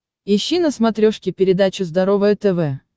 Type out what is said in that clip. ищи на смотрешке передачу здоровое тв